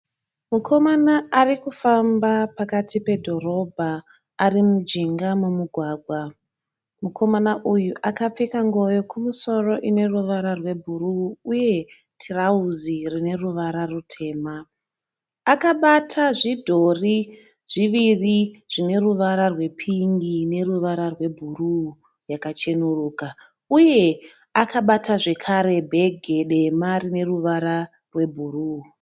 Mukomana arikufamba pakati pedhorobha ari mujinga momugwagwa. Mukomana uyu akapfeka nguo yokumusoro ine ruvara rwe bhuruu uye tirauzi rine ruvara rutema. Akabata zvidhori zvíviri zvine ruvara rwe pingi neruvara rwe bhuruu yakachenuruka uye akabata zvekare bhegi dema rine ruvara rwe bhuruu.